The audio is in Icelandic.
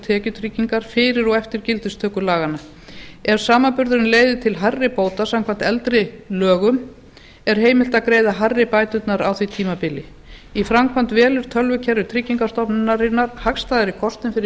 tekjutryggingar fyrir og eftir gildistöku laganna ef samanburðurinn leiðir til hærri bóta samkvæmt eldri lögum er heimilt að greiða hærri bæturnar á því tímabili í framkvæmd velur tölvukerfi tryggingastofnunarinnar hagstæðari kostinn fyrir